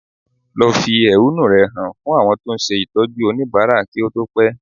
Lọ fi ehúnú rẹ hàn fún àwọn tó ń ṣe Ìtọ́jú oníbàárà kí ó tó pẹ́